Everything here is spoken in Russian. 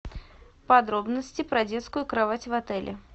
подробности про детскую кровать в отеле